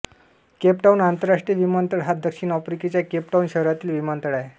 Cape Town आंतरराष्ट्रीय विमानतळ हा दक्षिण आफ्रिकेच्या केप टाउन शहरातील विमानतळ आहे